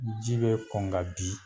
Ji bɛ kɔn ka bin.